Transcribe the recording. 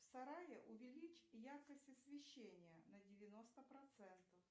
в сарае увеличь яркость освещения на девяносто процентов